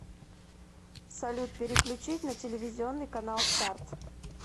салют переключить на телевизионный канал старт